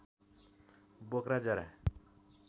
बोक्रा जरा